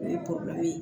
O ye ye